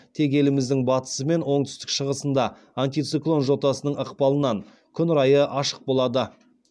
тек еліміздің батысы мен оңтүстік шығысында антициклон жотасының ықпалынан күн райы ашық болады